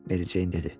Mary Jane dedi.